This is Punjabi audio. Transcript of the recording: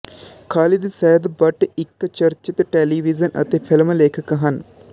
ਖ਼ਾਲਿਦ ਸੈਦ ਬੱਟ ਇੱਕ ਚਰਚਿਤ ਟੈਲੀਵਿਜ਼ਨ ਅਤੇ ਫਿਲਮ ਲੇਖਕ ਹਨ